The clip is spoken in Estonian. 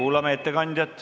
Kuulame ettekandjat.